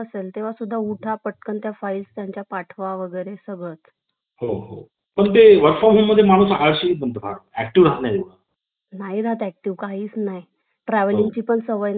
करून अं ठरवून प्रमाणे संघ राज्य क्षेत्रांतील तीत प्रतिनिधी ची निवड होते